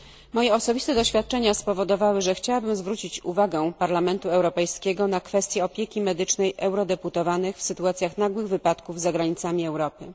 Moje osobiste doświadczenia spowodowały, że chciałabym zwrócić uwagę Parlamentu Europejskiego na kwestię opieki medycznej eurodeputowanych w sytuacjach nagłych wypadków za granicami Europy.